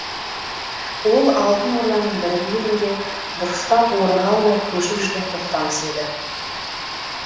ол алтын орданың бір бүйірінде дұрыстап орныға алмай көшіп жүрген тоқтамыс еді